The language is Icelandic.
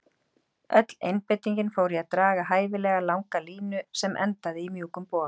Öll einbeitingin fór í að draga hæfilega langa línu sem endaði í mjúkum boga.